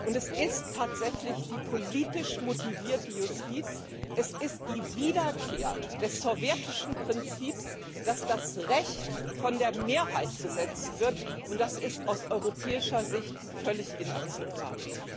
Und das ist tatsächlich politisch motivierte Justiz, es ist die Wiederkehr des sowjetischen Prinzips, dass das Recht von der Mehrheit gesetzt wird, und das ist aus europäischer Sicht völlig inakzeptabel.